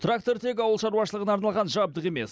трактор тек ауыл шаруашылығына арналған жабдық емес